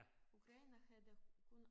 Ukraine havde kun